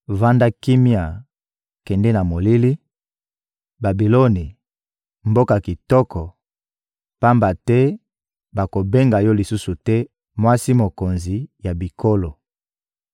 Vanda kimia, kende na molili, Babiloni, mboka kitoko, pamba te bakobenga yo lisusu te «mwasi mokonzi ya bikolo.»